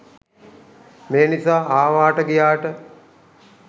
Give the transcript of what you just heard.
මේ නිසා ආවාට ගියාට